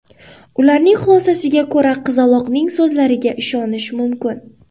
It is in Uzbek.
Ularning xulosasiga ko‘ra, qizaloqning so‘zlariga ishonish mumkin.